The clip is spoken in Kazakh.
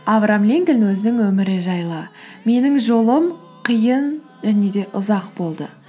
авраам линкольн өзінің өмірі жайлы менің жолым қиын және де ұзақ болды